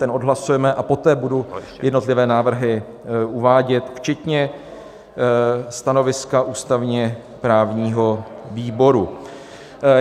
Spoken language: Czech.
Ten odhlasujeme a poté budu jednotlivé návrhy uvádět včetně stanoviska ústavně-právního výboru.